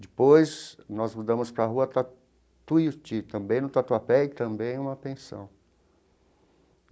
Depois, nós mudamos para a rua para Tuiuti, também no Tatuapé, e também numa pensão.